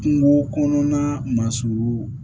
Kungo kɔnɔna masurunu